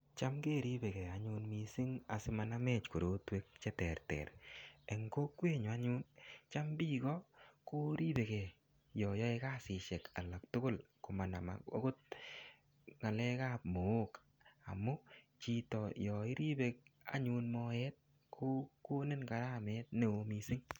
Cham keripikei anyun missing, asimanamech korotwek che terter. Eng kokwet nyu anyun, kocham biiko, koripekei yayae kasisihek alak tugul. Komanam angot ng'alekap moook. Amu chito yairibe anyun moet, kokonin karamet ne oo missing.